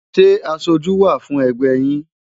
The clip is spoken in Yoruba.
Ṣé aṣojú wà fún ẹgbẹ́ yín?